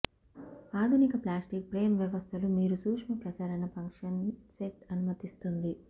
ఆధునిక plastic frame వ్యవస్థలు మీరు సూక్ష్మ ప్రసరణ ఫంక్షన్ సెట్ అనుమతిస్తుంది